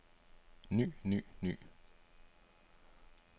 ny ny ny